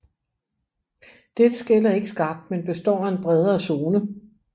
Dette skel er ikke skarpt men består af en bredere zone